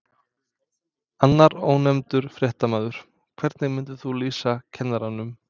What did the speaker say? Annar ónefndur fréttamaður: Hvernig myndir þú lýsa kennaranum?